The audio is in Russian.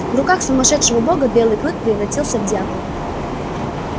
в руках сумасшедшего бога белый клык превратился в дьявола